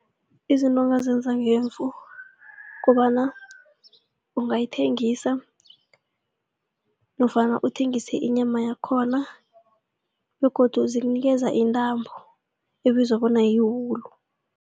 Izinto ongazenza ngemvu kobana ungayithengisa nofana uthengise inyama yakhona begodu zikunikeza intambo ebizwa bona yiwulu.